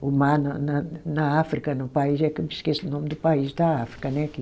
o mar na na na África, no país, é que eu me esqueço o nome do país da África, né que?